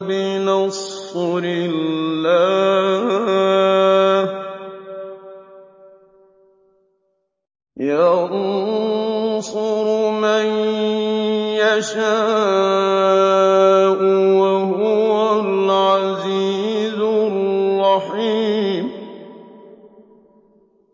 بِنَصْرِ اللَّهِ ۚ يَنصُرُ مَن يَشَاءُ ۖ وَهُوَ الْعَزِيزُ الرَّحِيمُ